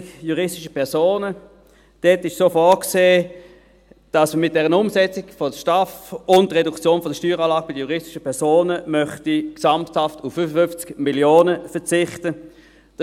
Bei den juristischen Personen ist vorgesehen, dass man mit der Umsetzung der STAF und der Reduktion der Steueranlage bei den juristischen Personen auf gesamthaft 55 Mio. Franken verzichten möchte.